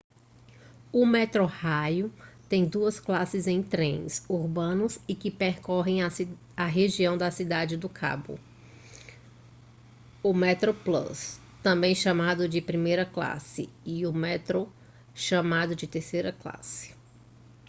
o metrorail tem duas classes em trens urbanos e que percorrem a região da cidade do cabo: o metroplus também chamado de primeira classe e o metro chamado de terceira classe